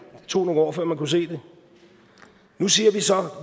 det tog nogle år før man kunne se det nu siger vi så at